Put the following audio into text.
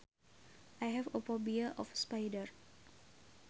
I have a phobia of spiders